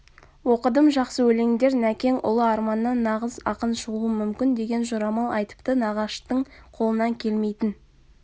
оқыдым жақсы өлеңдер нәкең ұлы арманнан нағыз ақын шығуы мүмкін деген жорамал айтыпты нағаштың қолынан келмейтін